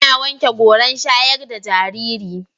Ina wanke goran shayar da jariri.